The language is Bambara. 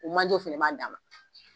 O manjew fana b'a dan ma